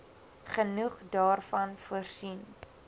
genoeg daarvan voorsien